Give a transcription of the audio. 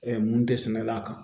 mun tɛ sɛnɛ la kan